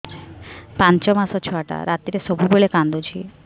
ପାଞ୍ଚ ମାସ ଛୁଆଟା ରାତିରେ ସବୁବେଳେ କାନ୍ଦୁଚି